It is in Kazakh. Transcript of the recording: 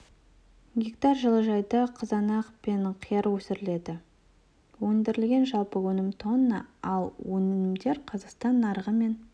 гектар жылыжайда қызанақ пен қияр өсіріледі өндірілген жалпы өнім тонна ал өнімдер қазақстан нарығы мен